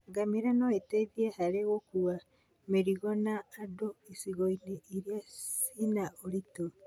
Ngamĩra no iteithie harĩ gũkua mĩrigo na andũ icigo-inĩ irĩa cina ũritũ.